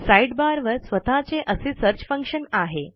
sidebar वर स्वतःचे असे सर्च फंक्शन आहे